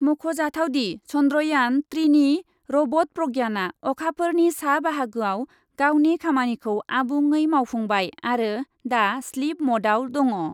मख'जाथावदि , चन्द्रयान ट्रिनि रबट प्रज्ञानआ अखाफोरनि सा बाहागोआव गावनि खामानिखौ आबुङै मावफुंबाय आरो दा स्लिप मडआव दङ ।